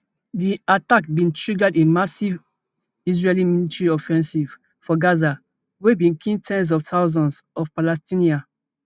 di attack bin triggered a massive israeli military offensive for gaza wey bin kill ten s of thousands of palestinians